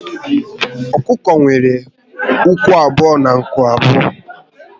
Ọkụkọ nwere ụkwụ abụọ na nku abụọ